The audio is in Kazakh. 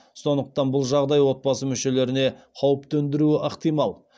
сондықтан бұл жағдай отбасы мүшелеріне қауіп төндіруі ықтимал